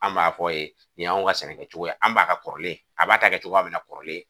An b'a fɔ ye nin y'anw ka sɛnɛ kɛcogo, an b'a ka kɔrɔlen, a b'a ta kɛcogoya min na kɔrɔlen